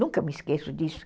Nunca me esqueço disso.